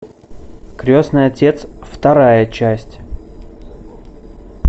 крестный отец вторая часть